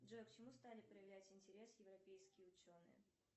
джой к чему стали проявлять интерес европейские ученые